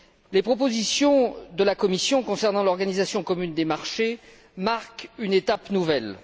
Les propositions de la Commission concernant l'organisation commune des marchés marquent une étape nouvelle.